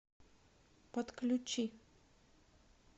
подключи